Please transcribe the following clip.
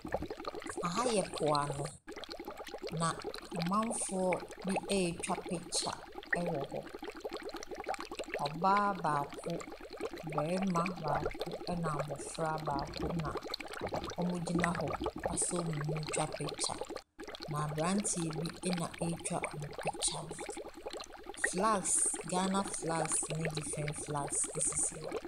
Aha yɛ po ano, na amamfoɔ bi ɛretwa picture wɔ hɔ. Ɔbaa baako, barima baako na abɔfra baako na wɔgyina hɔ asɔ wɔn mu ɛretwa picture. Na aberanteɛ na ɛretwa wɔ picture no. flags, Ghana fags ne different flags sisi hɔ.